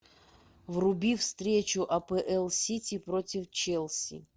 вруби встречу апл сити против челси